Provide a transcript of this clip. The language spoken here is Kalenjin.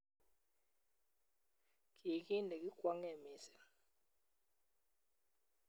Kii ki nekikwongee missing